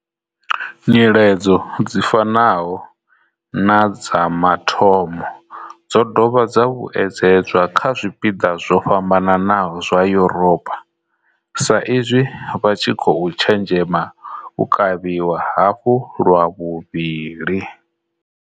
Nyiledzo dzi fanaho na dza mathomo dzo dovha dza vhuedzedzwa kha zwipiḓa zwo fhambanaho zwa Europe saizwi vha tshi khou tshenzhema u kavhiwa hafhu lwa vhu vhili.